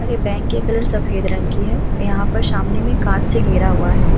और ये बैंक के कलर सफ़ेद रंग की है। यहाँ पर सामने में काँच से घेरा हुआ है।